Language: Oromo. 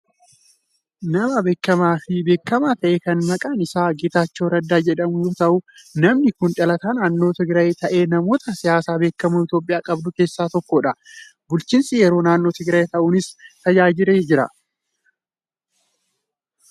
Nama beekamaa fi beekamaa ta'e kan maqaan isaa Geetaachoo Raddaa jedhamu yoo ta’u, namni kun dhalataa naannoo Tigiraayi ta'ee namoota siyaasaa beekamoo Itoophiyaan qabdu keessaa tokkodha. Bulchiinsa yeroo naannoo Tigiraay ta'uunis tajaajileera.